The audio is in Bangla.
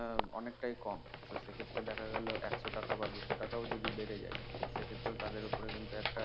উম অনেকটাই কম নত সেক্ষেত্রে দেখা গেল একশ টাকা বা দুশ টাকাও যদি বেড়ে যায় সেক্ষেত্রেও তাদের উপরে কিন্তু একটা